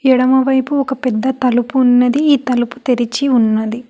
ఎడమవైపు ఒక పెద్ద తలుపు ఉన్నది ఈ తలుపు తెరిచి ఉన్నది.